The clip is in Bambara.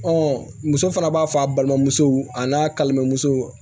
muso fana b'a fɔ a balimamuso a n'a kalimamuso